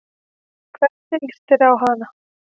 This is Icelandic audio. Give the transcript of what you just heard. Hvernig lýst þér á hana?